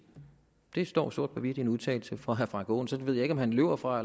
det står sort på hvidt i en udtalelse fra herre frank aaen så det ved jeg ikke om han løber fra